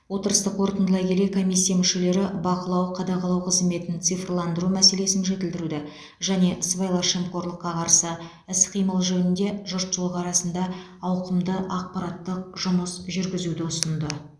отырысты қорытындылай келе комиссия мүшелері бақылау қадағалау қызметін цифрландыру мәселесін жетілдіруді және сыбайлас жемқорлыққа қарсы іс қимыл жөнінде жұртшылық арасында ауқымды ақпараттық жұмыс жүргізуді ұсынды